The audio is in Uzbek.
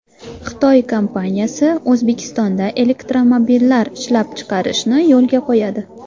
Xitoy kompaniyasi O‘zbekistonda elektromobillar ishlab chiqarishni yo‘lga qo‘yadi.